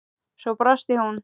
Svo brosti hún.